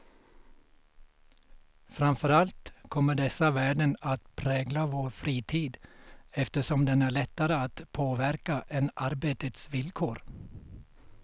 Framför allt kommer dessa värden att prägla vår fritid, eftersom den är lättare att påverka än arbetets villkor.